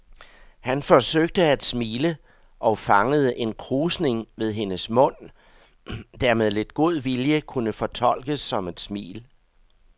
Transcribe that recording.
Han forsøgte at smile og fangede en krusning ved hendes mund, der med lidt god vilje kunne fortolkes som et smil.